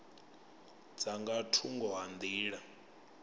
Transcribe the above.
dza nga thungo ha nḓila